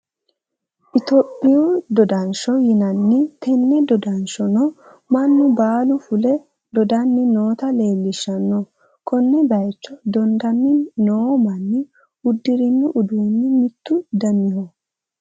Itoyiphu doodansho yinanni tenne doodanshono manu baalu fule doodani notta leelishanno Kone bayicho doodani noo Mani udirino uduni mitu daniho